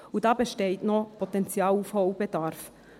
Und da besteht noch Potenzial und Aufholbedarf.